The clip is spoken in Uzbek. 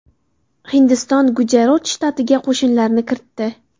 Hindiston Gujarot shtatiga qo‘shinlarini kiritdi.